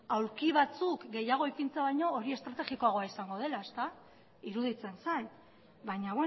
aulki batzuk gehiago ipintzea baino hori estrategikoagoa izango dela ezta iruditzen zait baina